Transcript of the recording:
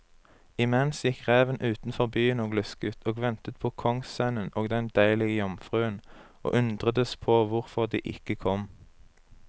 Imens gikk reven utenfor byen og lusket og ventet på kongssønnen og den deilige jomfruen, og undredes på hvorfor de ikke kom.